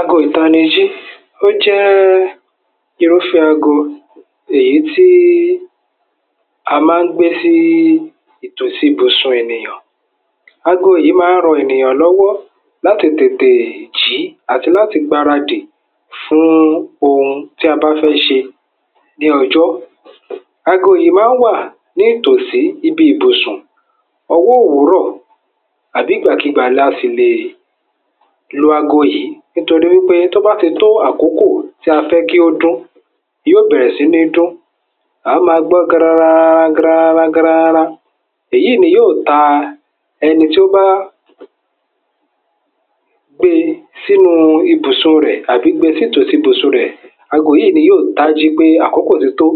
ago ìtanijí ó jẹ́ẹ́ irúfẹ́ ago èyí tí a ma ń gbé sí ìtòsí ibùsùn ènìyàn ago yí ma ń ran ènìyàn lọ́wọ́ láti tètèè jí àti láti gbaradì fún ohun tí a bá fẹ́ ṣe ní ọjọ́ ago yìí ma ń wà ní ìtòsí ibi ìbùsùn ọwọ́ òwúrọ̀ àbí ìgbàkigbà la sì lè lo ago yìí nítorí wípé tóbá ti tó àkókò tí a fẹ́ kódún yíò bẹ̀ẹ̀rẹ̀ sí ní dún à á maa gbọ́ gran-an gran ran ran gran ran ran èyíi ni yíò taa ẹni tó báá gbe sí núu ibùsùn rẹ̀ tàbí gbe sí tòsí ibùsùn rẹ̀ ago yíí ni yíò tájí pé àkókò ti tó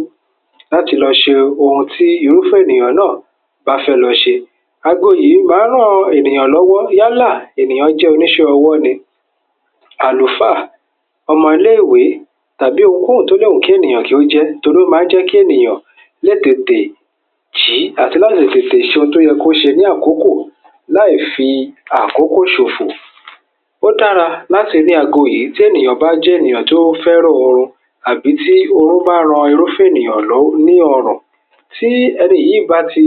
láti lọ ṣe ohun tí irúfẹ́ ènìyàn náà báfẹ́ lọ ṣe ago yíí ma ń ran ènìyàn lọ́wọ́ yálà ènìyàn jẹ́ oníṣẹ́ ọwọ́ ni àlùfáà ọmọ ilé-èwé tàbí ohun kóhùn tó lè wù kí ènìyàn kí o jẹ́ torí ó ma ń jẹ́ kí ènìyàn lè tètè jí àti láti lè tètè ṣe ohun tóyẹ kó ṣe ní àkókò láì fi àkókò ṣòfù. ó dára láti ní ago yìí tí ènìyàn bájẹ́ ènìyàn tó fẹ́ràn orun àbí tí orun báá ran irúfẹ́ ènìyàn lọ́ lí ọrọ̀ tí ẹni yíí báti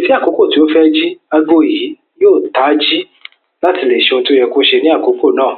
ní àkókò tó fẹ́ jí ago yìí yíò taájí láti lè ṣe ohun tóyẹ kó ṣe ní àkókò náà